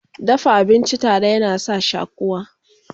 dafa abinci tare yana sa shakuwa